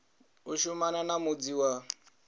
u shumana na mudzi wa